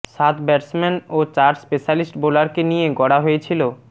সাত ব্যাটসম্যান ও চার স্পেশালিস্ট বোলারকে নিয়ে গড়া হয়েছিল